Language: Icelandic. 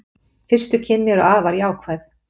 Fyrstu kynni eru afar jákvæð